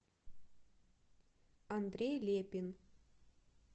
андрей лепин